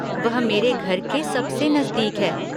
वह मेरे घर के सबसे नज़दीक है।